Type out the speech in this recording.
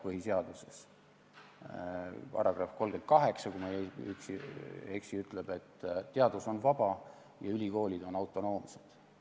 Põhiseaduse § 38, kui ma ei eksi, ütleb, et teadus on vaba ja ülikoolid on autonoomsed.